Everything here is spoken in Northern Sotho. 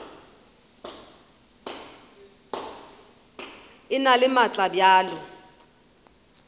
e na le maatla bjalo